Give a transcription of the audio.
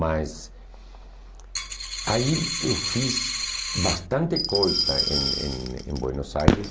Mas aí eu fiz bastante coisa em em em Buenos Aires.